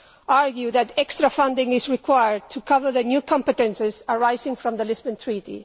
argue that extra funding is required to cover the new competences arising from the Lisbon Treaty.